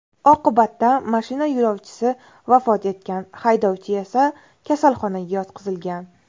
Oqibatda mashina yo‘lovchisi vafot etgan, haydovchi esa kasalxonaga yotqizilgan.